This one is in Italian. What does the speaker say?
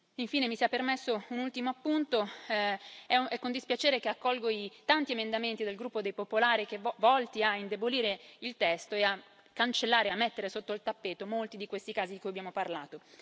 Infine, mi sia permesso un ultimo appunto è con dispiacere che accolgo i tanti emendamenti del gruppo dei Popolari, volti a indebolire il testo e a cancellare e a mettere sotto il tappeto molti di questi casi di cui abbiamo parlato.